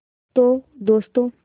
तो दोस्तों